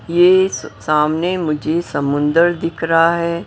यह स सामने मुझे समुंदर दिख रहा है।